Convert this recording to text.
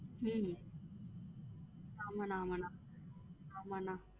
உம் ஆமா அண்ணா ஆமா அண்ணா ஆமா அண்ணா.